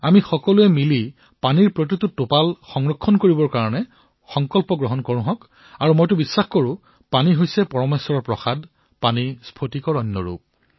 আমি সকলোৱে একত্ৰিত হৈ পানীৰ প্ৰতিটো টোপাল ৰক্ষা কৰাৰ সংকল্প গ্ৰহণ কৰো আৰু মোৰ বিশ্বাস যে পানী হল পৰমেশ্বৰৰ প্ৰসাদ পানী হল পৰমশমণি দৰে